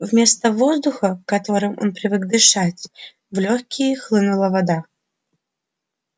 вместо воздуха которым он привык дышать в лёгкие хлынула вода